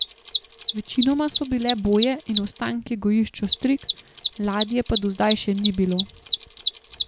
Večinoma so bile boje in ostanki gojišč ostrig, ladje pa do zdaj še ni bilo.